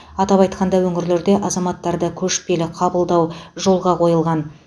атап айтқанда өңірлерде азаматтарды көшпелі қабылдау жолға қойылған